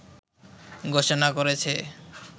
ঘোষণা করেছে